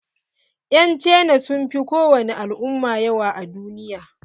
Yan cina sun fi kowani al'umma yawa a duniya.